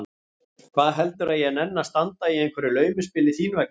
Hvað heldurðu að ég nenni að standa í einhverju laumuspili þín vegna?